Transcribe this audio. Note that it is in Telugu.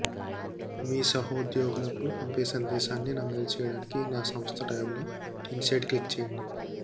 మీ సహోద్యోగులకు పంపే సందేశాన్ని నమోదు చేయడానికి నా సంస్థ ట్యాబ్లో ఇన్సైడ్ క్లిక్ చేయండి